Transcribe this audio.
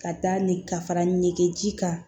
Ka taa ni ka fara ɲɛgɛn ji kan